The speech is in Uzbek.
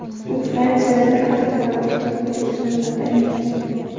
U Fransiyada bir haftadan ortiq bo‘lib, so‘ng Vatanga qaytgan.